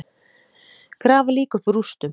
Grafa lík upp úr rústum